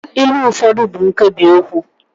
ilu ụfọdụ bụ nkebiokwu